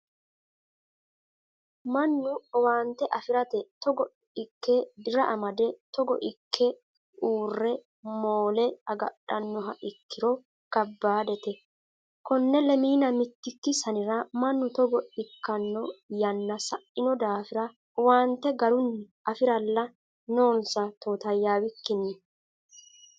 Mannu owaante afirate togo ikke dira amade togo ikke uurre moole agadhanoha ikkiro kabbadete kone lemina mitiki sanira mannu togo ikkano yanna saino daafira owaante garunni afiralla noonsa totayawikkinni.